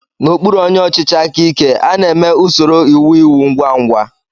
N'okpụrụ onyé ọchịchị áká íké, a na-èmé usoro íwú ịwú ngwa ngwa.